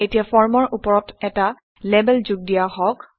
এতিয়া ফৰ্মৰ ওপৰত এটা লেবেল যোগ দিয়া হওক